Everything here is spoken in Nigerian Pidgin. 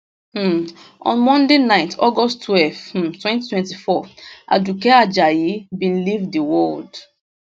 um on monday night august twelve um 2024 aduke ajayi bin leave di world